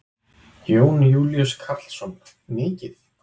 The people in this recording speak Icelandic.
Jón Júlíus Karlsson: Mikið?